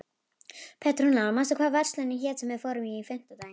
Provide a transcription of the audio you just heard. Petrúnella, manstu hvað verslunin hét sem við fórum í á fimmtudaginn?